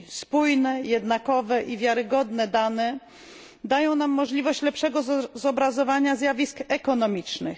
Spójne, jednakowe i wiarygodne dane dają nam możliwość lepszego zobrazowania zjawisk ekonomicznych.